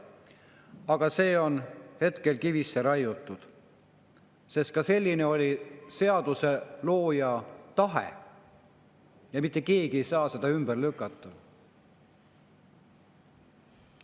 Aga see on hetkel kivisse raiutud, sest selline oli ka seaduslooja tahe ja mitte keegi ei saa seda ümber lükata.